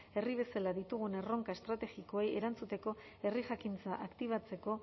herri bezala ditugun erronka estrategikoei erantzuteko herri jakintza aktibatzeko